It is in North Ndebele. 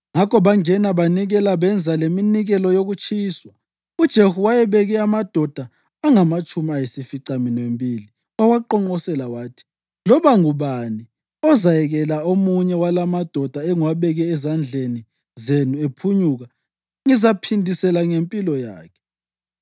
Ngakho bangena banikela benza leminikelo yokutshiswa. UJehu wayebeke amadoda angamatshumi ayisificaminwembili wawaqonqosela wathi, “Loba ngubani ozayekela omunye walamadoda engiwabeke ezandleni zenu ephunyuka, ngizaphindisela ngempilo yakhe.”